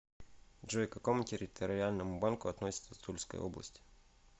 джой к какому территориальному банку относится тульская область